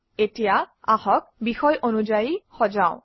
এতিয়া আহক বিষয় অনুযায়ী সজাও